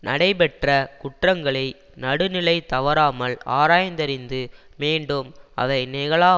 நடைபெற்ற குற்றங்களை நடுநிலை தவறாமல் ஆராய்ந்தறிந்து மீண்டும் அவை நிகழா